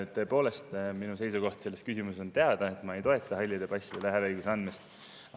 Tõepoolest, minu seisukoht selles küsimuses on teada, ma ei toeta halli passi hääleõiguse jätmist.